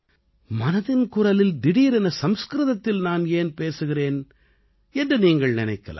மனதின் குரலில் திடீரென சம்ஸ்கிருதத்தில் நான் ஏன் பேசுகிறேன் என்று நீங்கள் நினைக்கலாம்